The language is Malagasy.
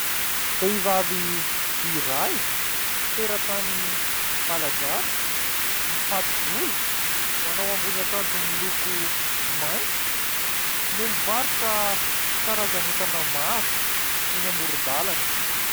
Vehivavy iray teratany malagasy, mifato-bolo, manao ambony akanjo miloko maitso no mivarotra karazana entana maro eny amoron-dalana.